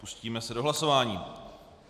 Pustíme se do hlasování.